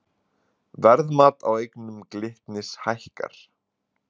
Verðmat á eignum Glitnis hækkar